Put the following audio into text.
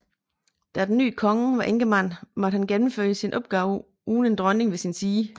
Da den nye konge var enkemand måtte han gennemføre sine opgaver uden en dronning ved sin side